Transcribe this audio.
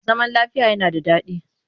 Zaman lafiya yana da daɗi